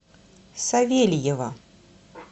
савельева